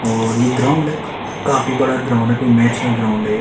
और ये ग्राउंड है काफी बड़ा ग्राउंड है कोई मैच का ग्राउंड है ये--